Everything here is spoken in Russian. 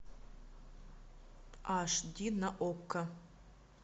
аш ди на окко